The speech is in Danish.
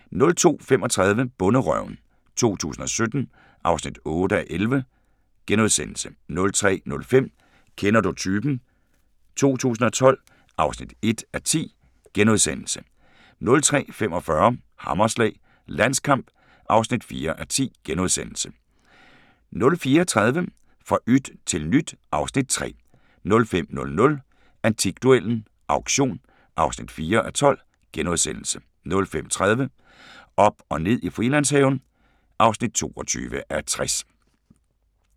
02:35: Bonderøven 2017 (8:11)* 03:05: Kender du typen? 2012 (1:10)* 03:45: Hammerslag – Landskamp (4:10)* 04:30: Fra yt til nyt (Afs. 3) 05:00: Antikduellen – Auktion (4:12)* 05:30: Op og ned i Frilandshaven (22:60)